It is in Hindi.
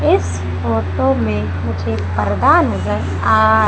इस फोटो में मुझे पर्दा नजर आ--